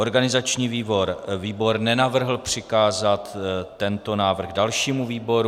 Organizační výbor nenavrhl přikázat tento návrh dalšímu výboru.